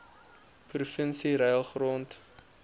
provinsie ruil grond